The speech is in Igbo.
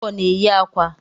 Ọkụkọ na enyi akwa